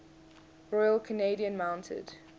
royal canadian mounted